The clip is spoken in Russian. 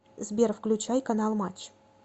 сбер включай канал матч